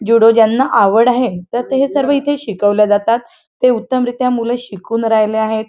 Judo ज्याना आवड आहे त्या सर्व इथे शिकवले जातात ते उत्तम रित्या मूल शिकवून राहिले आहेत.